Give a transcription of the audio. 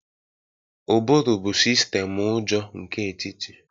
Ụbụrụ bụ sistemu ụjọ nke etiti